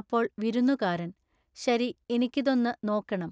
അപ്പോൾ വിരുന്നുകാരൻ:--ശരി ഇനിക്കിതൊന്നു നോക്കേണം.